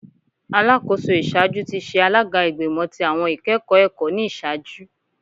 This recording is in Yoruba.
Alakoso iṣaaju ti ṣe alaga Igbimọ ti Awọn Ikẹkọ Ẹkọ ni iṣaaju